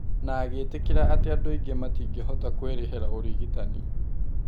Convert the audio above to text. Na agĩtĩkĩra atĩ andũ aingĩ matingĩhota kũĩrĩhĩra ũrigitani.